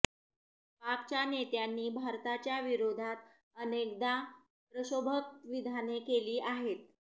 पाकच्या नेत्यांनी भारताच्या विरोधात अनेकदा प्रक्षोभक विधाने केली आहेत